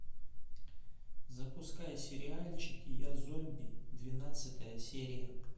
запускай сериальчик я зомби двенадцатая серия